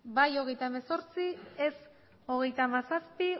bai hogeita hemezortzi ez hogeita hamazazpi